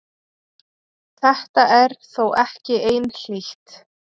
Þetta er þó ekki einhlítt.